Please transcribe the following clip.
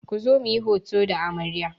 Ku zo muyi hoto da amarya!